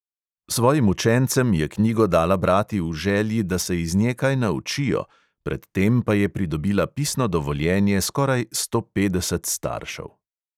Svojim učencem je knjigo dala brati v želji, da se iz nje kaj naučijo, pred tem pa je pridobila pisno dovoljenje skoraj sto petdeset staršev.